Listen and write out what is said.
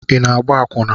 Ị na-agba akwụna?